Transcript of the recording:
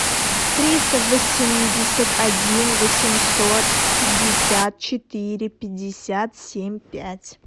триста восемьдесят один восемьсот пятьдесят четыре пятьдесят семь пять